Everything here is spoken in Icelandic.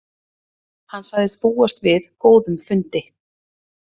Hann segist búast við góðum fundi